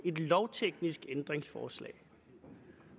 er et lovteknisk ændringsforslag